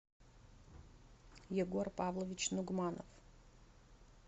егор павлович нугманов